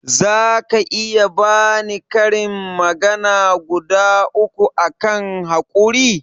zaka iya bani karin magana guda uku akan haƙuri?